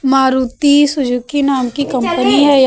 Maruti Suzuki नाम की company है या--